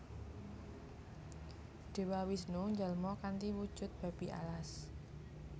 Dewa Wisnu njalma kanthi wujud Babi Alas